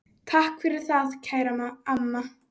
Takk fyrir það, kæra amma.